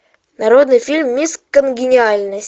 народный фильм мисс конгениальность